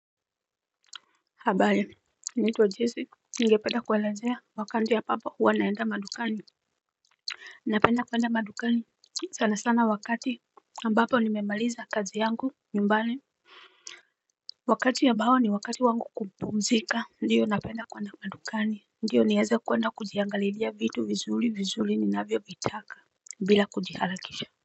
Habari naitwa jizi ningependa kuelezea wakati ambapo huwa naenda madukani. Napenda kuwenda madukani sana sana wakati ambapo nimemaliza kazi yangu nyumbani. Wakati ambao ni wakati wangu kupumzika ndiyo napenda kwenda madukani ndiyo nieze kwenda kujiangaliria vitu vizuli vizuli ni navyo vitaka bila kujihalakisha.